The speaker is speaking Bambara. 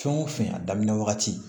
Fɛn o fɛn a daminɛ wagati